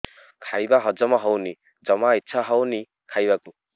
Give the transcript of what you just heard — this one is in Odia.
ଖାଇବା ହଜମ ହଉନି ଜମା ଇଛା ହଉନି ଖାଇବାକୁ